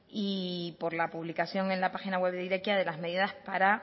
y por la publicación en la página web de irekia de las medidas para